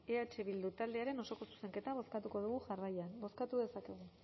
eh bildu taldearen osoko zuzenketa bozkatuko dugu jarraian bozkatu dezakegu